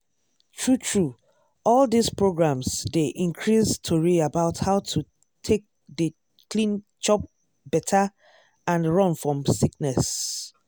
true true all dis programs dey increase tori about how to take dey clean chop better and run fom sickness.